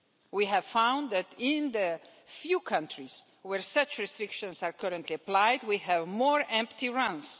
We have found that in the few countries where such restrictions are currently applied we have more empty runs.